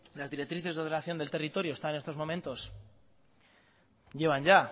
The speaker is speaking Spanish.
las directrices de ordenación del territorio están en estos momentos llevan ya